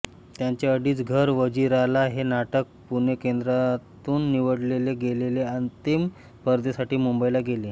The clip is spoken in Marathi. त्यांचे अडीच घरं वजिराला हे नाटक पुणे केंद्रातून निवडले गेले आणि अंतिम स्पर्धेसाठी मुंबईला गेले